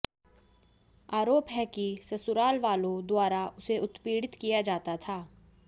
आरोप है कि ससुराल वालों द्वारा उसे उत्पीडि़त किया जाता था